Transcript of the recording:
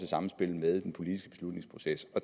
sammenspil med den politiske beslutningsproces på